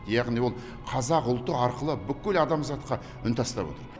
яғни ол қазақ ұлты арқылы бүкіл адамзатқа үн тастап отыр